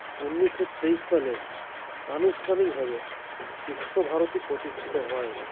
উনিশো তেইশ সালে আনুষ্ঠানিকভাবে বিশ্বভারতী প্রতিষ্ঠিত হয়